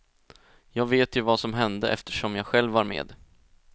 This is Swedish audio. Jag vet ju vad som hände eftersom jag själv var med.